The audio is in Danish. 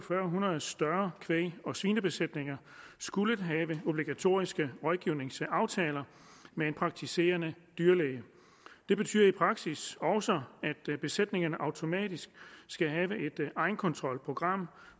hundrede større kvæg og svinebesætninger skullet have obligatoriske rådgivningsaftaler med en praktiserende dyrlæge det betyder i praksis også at besætningerne automatisk skal have et egenkontrolprogram